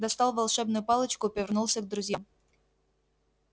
достал волшебную палочку и повернулся к друзьям